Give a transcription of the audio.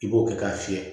I b'o kɛ k'a fiyɛ